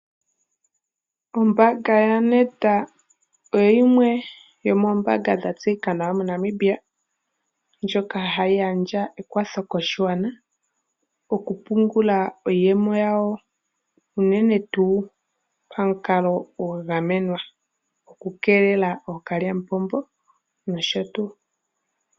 Ombaanga ya Nedbank oyo yimwe yomoombanga dha tseyika nawa mo Namibia ndjoka hayi gandja ekwatho koshigwana. Oku pungula iiyemo yawo uunene tuu pomukalo gwa ga menwa oku keelela ookalyamupombo nosho tuu.